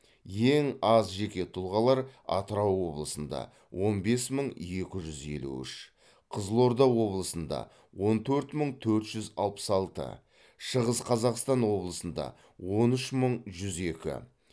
ең аз жеке тұлғалар атырау облысында он бес мың екі жүз елу үш қызылорда облысында он төрт мың төрт жүз алпыс алты шығыс қазақстан облысында он үш мың жүз екі